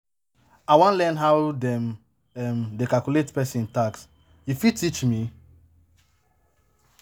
I wan learn how dem um dey calculate pesin tax, you fit teach me?